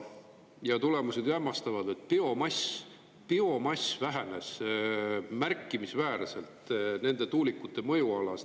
Ja tulemused ju hämmastavad: biomass vähenes märkimisväärselt nende tuulikute mõjualas.